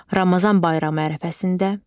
Ramazan bayramı ərəfəsində.